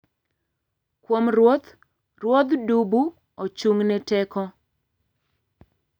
Kuom ruoth, ruodh dubu ochung'ne teko.